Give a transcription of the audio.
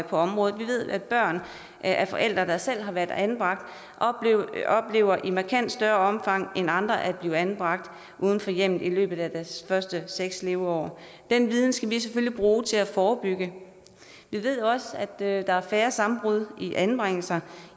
på området vi ved at børn af forældre der selv har været anbragt i markant større omfang end andre oplever at blive anbragt uden for hjemmet i løbet af deres første seks leveår den viden skal vi selvfølgelig bruge til at forebygge vi ved også at der er færre sammenbrud i anbringelserne